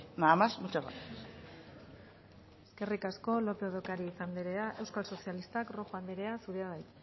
nada más muchas gracias eskerrik asko lópez de ocariz anderea euskal sozialistak rojo anderea zurea da hitza